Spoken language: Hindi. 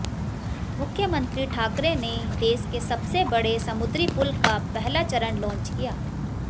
मुख्यमंत्री ठाकरे ने देश के सबसे बड़े समुद्री पुल का पहला चरण लॉन्च किया